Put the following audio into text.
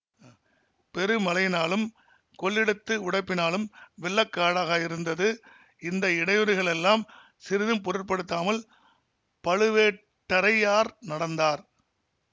பெருமழையினாலும் கொள்ளிடத்து உடைப்பினாலும் வெள்ள காடாக இருந்தது இந்த இடையூறுகளெல்லாம் சிறிதும் பொருட்படுத்தாமல் பழுவேட்டரையார் நடந்தார்